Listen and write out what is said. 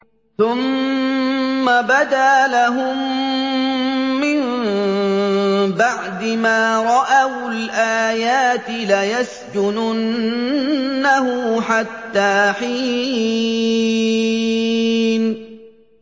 ثُمَّ بَدَا لَهُم مِّن بَعْدِ مَا رَأَوُا الْآيَاتِ لَيَسْجُنُنَّهُ حَتَّىٰ حِينٍ